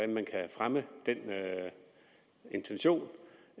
man kan fremme den intention